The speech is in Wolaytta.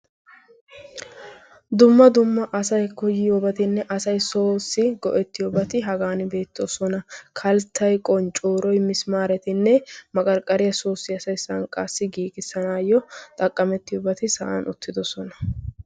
dumma dumma asay koyiyoobatinne asay soossi go'ettiyoobati hagan beettidosona kalttay qonccooroy misimaaretinne maqarqqariyaa soossi asayssan qassi giigissanaayyo xaqqamettiyoobati sa'an uttidosona